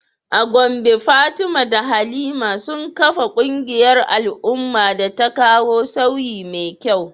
A Gombe Fatima da Halima sun kafa kungiyar al’umma da ta kawo sauyi mai kyau.